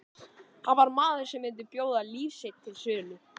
Hann var maður sem myndi bjóða líf sitt til sölu.